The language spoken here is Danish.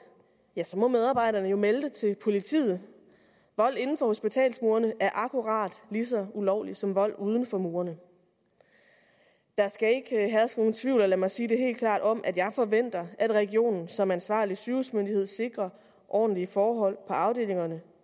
ja så må medarbejderne jo melde det til politiet vold inden for hospitalsmurene er akkurat lige så ulovligt som vold uden for murene der skal ikke herske nogen tvivl lad mig sige det helt klart om at jeg forventer at regionen som ansvarlig sygehusmyndighed sikrer ordentlige forhold på afdelingerne